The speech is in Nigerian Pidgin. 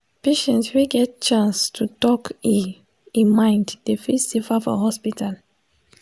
patient wey get chance to talk e e mind dey feel safer for hospital.